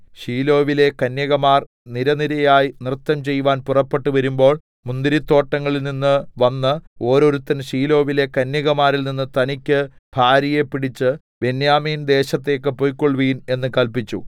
ശീലോവിലെ കന്യകമാർ നിരനിരയായി നൃത്തംചെയ്‌വാൻ പുറപ്പെട്ട് വരുമ്പോൾ മുന്തിരിത്തോട്ടങ്ങളിൽനിന്ന് വന്ന് ഓരോരുത്തൻ ശീലോവിലെ കന്യകമാരിൽനിന്ന് തനിക്ക് ഭാര്യയെ പിടിച്ച് ബെന്യാമീൻ ദേശത്തേക്ക് പൊയ്ക്കൊൾവിൻ എന്ന് കല്പിച്ചു